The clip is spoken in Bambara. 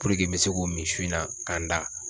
n be se k'o min su in na ka n da